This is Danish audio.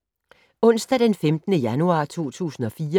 Onsdag d. 15. januar 2014